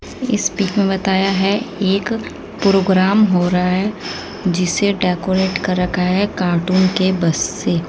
इस पिक में बताया हैं एक प्रोग्राम हो रहा हैं जिसे डेकोरेट कर रखा है कार्टून के बस से--